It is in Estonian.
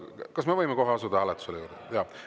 Kas me võime kohe asuda hääletuse juurde?